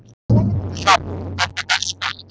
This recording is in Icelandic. Hrafn, hvernig er dagskráin í dag?